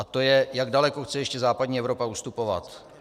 A to je, jak daleko chce ještě západní Evropa ustupovat.